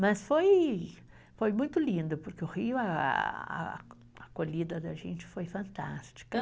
Mas foi, foi muito lindo, porque o Rio, a, a acolhida da gente foi fantástica.